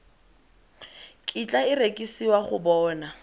kitla e rekisiwa go bona